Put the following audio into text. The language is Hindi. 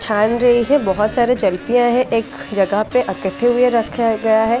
छन रही है बहुत सारे चलपी आए है एक जगह पे इकट्ठे हुए रखा गया है।